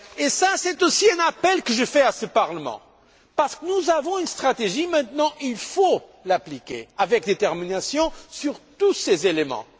Cela, c'est un appel que je fais à ce Parlement, parce que nous avons une stratégie maintenant et il faut l'appliquer avec détermination sur tous ces éléments.